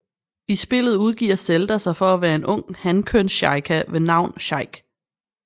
I spillet udgiver Zelda sig for at være en ung hankønssheikah ved navn Sheik